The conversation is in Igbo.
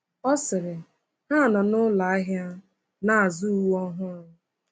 Ọ sịrị: Ha nọ na ụlọ ahịa na-azụ uwe ọhụrụ.